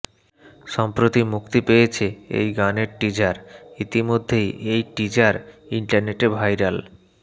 সম্প্রতি মুক্তি পেয়েছে এই গানের টিজার ইতিমধ্যেই এই টিজার ইন্টারনেটে ভাইরাল